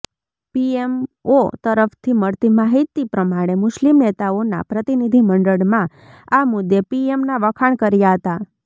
PMO તરફથી મળતી માહિતી પ્રમાણે મુસ્લિમ નેતાઓના પ્રતિનિધિમંડળમાં આ મુદ્દે પીએમના વખાણ કર્યા હતા